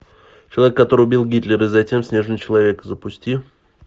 человек который убил гитлера затем снежный человек запусти